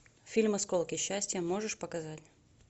фильм осколки счастья можешь показать